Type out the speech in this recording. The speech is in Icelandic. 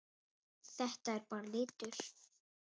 Þetta er bara litur.